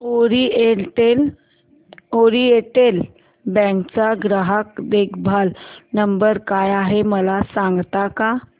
oriental bank चा ग्राहक देखभाल नंबर काय आहे मला सांगता का